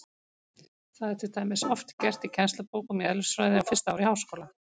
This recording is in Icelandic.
Það er til dæmis oft gert í kennslubókum í eðlisfræði á fyrsta ári í háskóla.